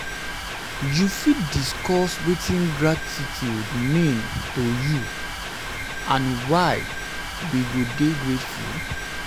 um you fit discuss wetin gratitude mean um to um you to um you and why we go dey grateful?